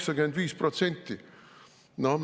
85%!